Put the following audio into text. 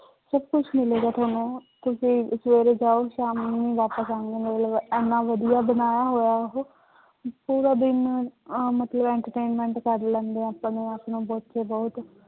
ਸਭ ਕੁਛ ਮਿਲੇਗਾ ਤੁਹਾਨੂੰ, ਤੁਸੀਂ ਸਵੇਰੇ ਜਾਓ ਸ਼ਾਮ ਨੂੰ ਵਾਪਸ ਆਓਗੇ, ਮਤਲਬ ਇੰਨਾ ਵਧੀਆ ਬਣਾਇਆ ਹੋਇਆ ਉਹ ਪੂਰਾ ਦਿਨ ਅਹ ਮਤਲਬ entertainment ਕਰ ਲੈਂਦੇ ਆ ਆਪਣੇ ਆਪਣੇ ਬੱਚੇ ਬਹੁਤ।